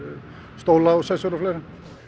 stóla og sessur og fleira